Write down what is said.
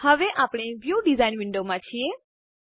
હવે આપણે view design વિન્ડોમાં છીએ